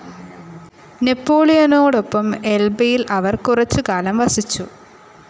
നെപോളിയനോടൊപ്പം എൽബയിൽ അവർ കുറച്ചു കാലം വസിച്ചു.